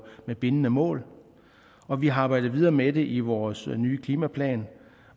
med bindende mål og vi har arbejdet videre med det i vores nye klimaplan